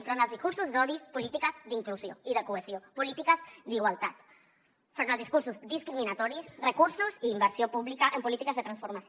enfront dels discursos d’odi polítiques d’inclusió i de cohesió polítiques d’igualtat enfront dels discursos discriminatoris recursos i inversió pública en polítiques de transformació